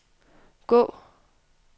gå